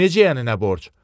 Necə yəni nə borc?